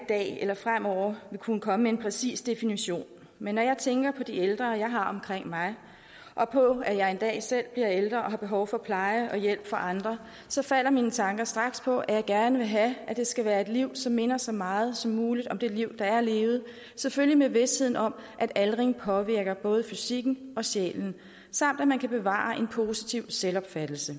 dag eller fremover vil kunne komme med en præcis definition men når jeg tænker på de ældre jeg har omkring mig og på at jeg en dag selv bliver ældre og har behov for pleje og hjælp fra andre så falder mine tanker straks på at jeg gerne vil have at det skal være et liv som minder så meget som muligt om det liv der er levet selvfølgelig med visheden om at aldring påvirker både fysikken og sindet samt at man kan bevare en positiv selvopfattelse